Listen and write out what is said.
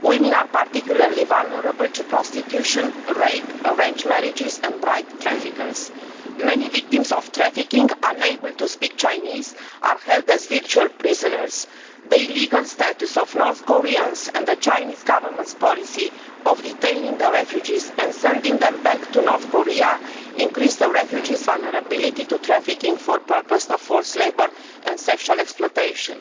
Women are particularly vulnerable to prostitution, rape, arranged marriages and bride traffickers. Many victims of trafficking are unable to speak Chinese and are held as virtual prisoners. The legal status of North Koreans and the Chinese Government's policy of detaining the refugees and sending them back to North Korea increase the refugees' vulnerability to trafficking for purposes of forced labour and sexual exploitation.